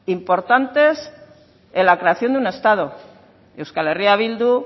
importantes en la creación de un estado euskal herria bildu